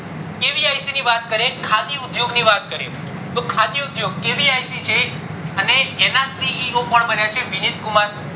kvic ની વાત કરીએ ખાદી ઉદ્યોગ ની વાત કરીયે તો ખાદી ઉદ્યોગ kvic છે અને એના CEO કોણ બન્યા છે વિનીત કુમાર